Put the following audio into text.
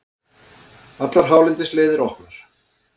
Allar hálendisleiðir opnar